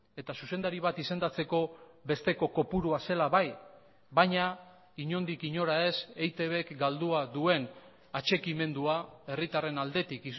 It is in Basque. eta zuzendari bat izendatzeko besteko kopurua zela bai baina inondik inora ez eitbk galdua duen atxikimendua herritarren aldetik